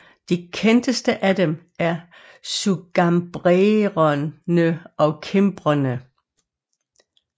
De kendteste af dem er sugambrerne og kimbrerne